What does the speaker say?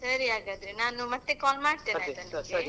ಸರಿ ಹಾಗಾದ್ರೆ ನಾನು ಮತ್ತೆ call ಮಾಡ್ತೇನೆ ಆಯ್ತಾ ನಿಮಗೆ .